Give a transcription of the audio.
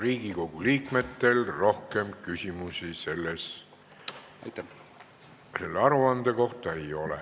Riigikogu liikmetel ei ole rohkem küsimusi selle aruande kohta.